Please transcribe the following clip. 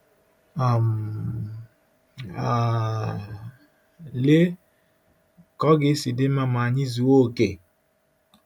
um um Lee ka ọ ga-esi dị mma ma anyị zuo okè!